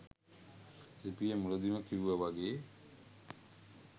ලිපියෙ මුලදිම කිව්ව වගේ